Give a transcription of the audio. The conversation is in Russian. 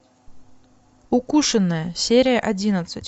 укушенная серия одиннадцать